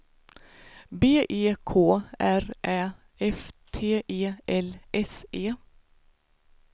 B E K R Ä F T E L S E